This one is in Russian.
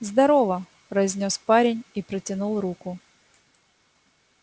здорово произнёс парень и протянул руку